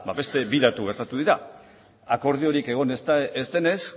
beste bi datu gertatu dira akordiorik egon ez denez